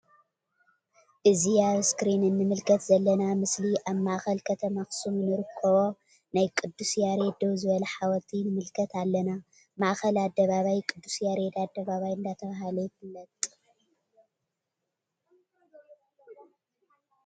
እዚ አብ እስክሪን እንምልከት ዘለና ምስሊ አብ ማእከል ከተማ አክሱም እንረክቦ ናይ ቅዱስ ያሬድ ደው ዝበለ ሓወልቲ ንምልከት አለና::ማእከል አደባባይ ቅድስ ያሬድ አደባባይ እንዳተብሃለ ይፍለጥ::